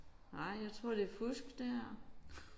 Nej jeg tror det er fusk det her